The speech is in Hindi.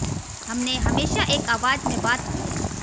हमने हमेशा एक आवाज़ में बात की है